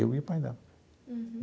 Eu e o pai dela. Uhum.